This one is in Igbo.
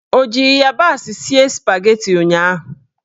Ọ ji ịyabasị sie spageti ụnyaahụ?